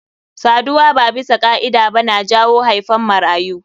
Saduwa ba bisa ka'ida ba na jawo haifan marayu.